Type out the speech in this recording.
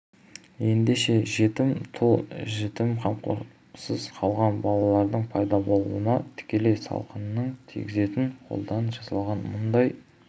ендеше жетім тұл жетім қамқорлықсыз қалған балалардың пайда болуына тікелей салқынын тигізетін қолдан жасалған мұндай